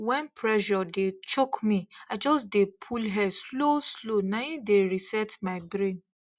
when pressure dey choke me i just dey pull air slow slow na im dey reset my brain